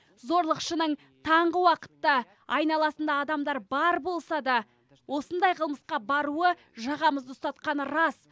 зорлықшының таңғы уақытта айналасында адамдар бар болса да осындай қылмысқа баруы жағамызды ұстатқаны рас